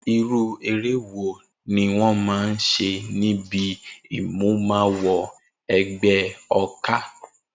Irú eré wo ni wó̩n máa ń s̩e níbi ìmúmawo e̩gbé̩ o̩ká?